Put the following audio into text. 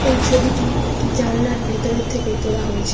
এই ছবিটি একটি জানলার ভেতরের থেকে তোলা হয়েছে।